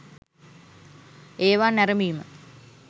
ඒවා නැරඹිම